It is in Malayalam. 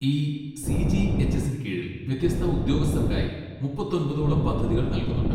ഈ സി. ജി. എച്ച്. എസ്സിന് കീഴിൽ വ്യത്യസ്ത ഉദ്യോഗസ്ഥർക്കായി മുപ്പത്തൊൻപതോളം പദ്ധതികൾ നൽകുന്നുണ്ട്.